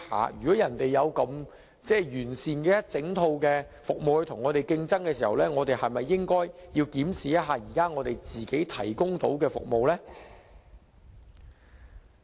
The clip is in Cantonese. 既然人家有如此完善的一整套服務與我們競爭，我們是否應該檢視現時所提供的服務呢？